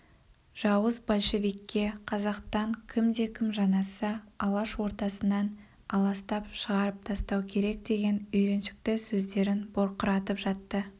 жауыз большевикке қазақтан кімде-кім жанасса алаш ортасынан аластап шығарып тастау керек деген үйреншікті сөздерін бұрқыратып жатты